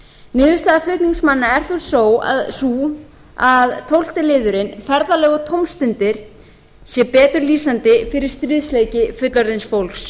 niðurstaða flutningsmanna er þó sú að tólfta liðurinn ferðalög og tómstundir sé betur lýsandi fyrir stríðsleiki fullorðins fólks